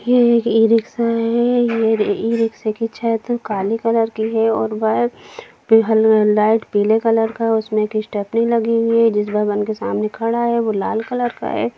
ये एक e rickshaw है या ई रिक्शा की छत काले कलर की है और वह लाइट पीले कलर का है उसमें स्टैपनी लगी हुई है या जिस भवन के सामने खड़ा है वो लाल कलर का है।